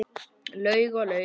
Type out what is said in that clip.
Laug og laug.